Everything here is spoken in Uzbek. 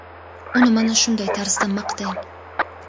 uni mana shunday tarzda maqtang.